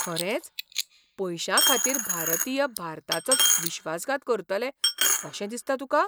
खरेंच? पयशांखातीर भारतीय भारताचोच विश्वासघात करतले अशें दिसता तुका?